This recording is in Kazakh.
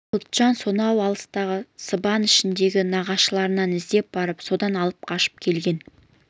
құтжан сонау алыстағы сыбан ішіндегі нағашыларын іздеп барып содан алып қашып келген